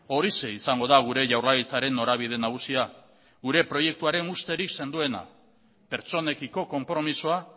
horixe izango da gure jaurlaritzaren norabide nagusia gure proiektuaren usterik sendoena pertsonekiko konpromisoa